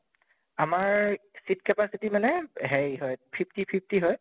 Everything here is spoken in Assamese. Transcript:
আমাৰ seat capacity মানে হেৰি হয় fifty fifty হয়